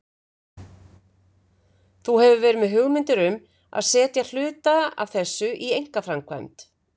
Þú hefur verið með hugmyndir um að setja hluta af þessu í einkaframkvæmd?